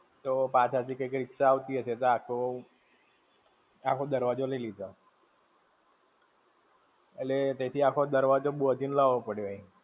તો પાછળ થી કંઈક રીક્ષા આવતી હશે તો આખો, આખો દરવાજો લઇ લીધો. એટલે, તઇ થી આખો દરવાજો બૉંધીને ને લાવો પડ્યો.